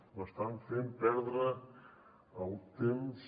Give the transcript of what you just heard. m’estan fent perdre el temps